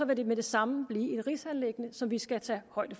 vil det med det samme blive et rigsanliggende som vi skal tage højde